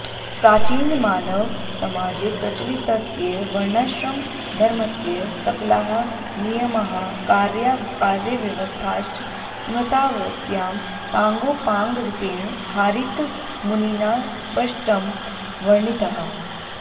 प्राचीनमानव समाजे प्रचलितस्य वर्णाश्रमधर्मस्य सक्लाः नियमाः कार्याकार्यव्यवस्थाश्च स्मृतावस्यां साङ्गोपाङ्गरुपेण हारीतमुनिना स्पष्टं वर्णिताः